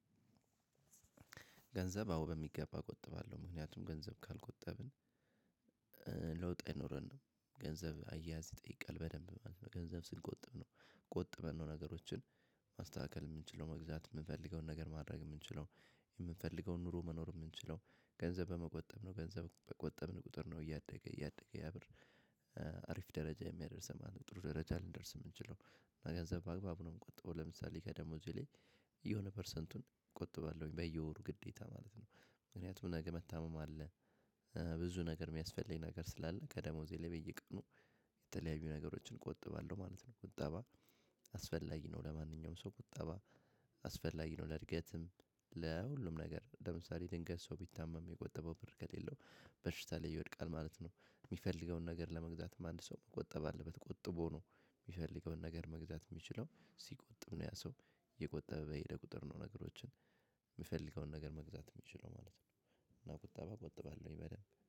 ገንዘብ አዎ በሚገባ እቆጥባለሁ ምክንያቱም ገንዘብ ካልቆጠብን ለውጥ አይኖረንም ገንዘብ አያያዝ ይጠይቃል በደንብ ማለት ነው። ገንዘብ ስንቆጥብ ነው ቆጥበን ነው። ነገሮችን ማስተካከል የምንችለው መግዛት የምንፈልገውን ነገር ማድረግ የምንችለው። የምንፈልገውን ኑሮ መኖር የምንችለው ገንዘብ በመቆጠብ ነው። ገንዘብ በቆጠብን ቁጥር ነው እያደገ እያደገ ያብር። አሪፍ ደረጃ የሚያደርሰን ማለት ነው። ጥሩ ደረጃ የምንችለው እና ገንዘብ በአግባቡ ነው። የምቆጠው ለምሳሌ ከደሞዜ ላይ የሆነ ፐርሰንቱን ቆጥባለሁኝ በየወሩ ግዴታ ማለት ነው። ምክንያቱም ነገ መታመም አለ። ብዙ ነገር የሚያስፈልገኝ ነገር ስላለ ከደሞዜ ላይ በየቀኑ የተለያዩ ነገሮችን ቆጥባለሁ ማለት ነው። ቁጠባ አስፈላጊ ነው። ለማንኛውም ሰው ቁጠባ አስፈላጊ ነው። ለእድገትም ለሁሉም ነገር ለምሳሌ ድንገት ሰው ቢታመም የቆጠበው ብር ከሌለው በሽታ ላይ ይወድቃል። ማለት ነው። የሚፈልገውን ነገር ለመግዛትም አንድ ሰው መቆጠብ አለበት። ቆጥቦ ነው የሚፈልገውን ነገር መግዛት የሚችለው ሲቆጥብ ነው። ያ ሰው እየቆጠበ በሄደ ቁጥር ነው። ነገሮችን የሚፈልገውን ነገር መግዛት የሚችለው ማለት ነው። እና ቁጠባ ቆጥባለሁኝ በደንብ